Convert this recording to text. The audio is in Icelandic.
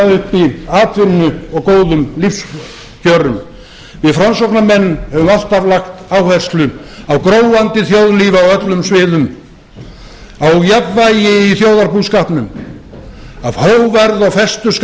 uppi atvinnu og góðum lífskjörum við framsóknarmenn höfum alltaf lagt áherslu á gróandi þjóðlíf á öllum sviðum á jafnvægi í þjóðarbúskapnum af hógværð og festu skal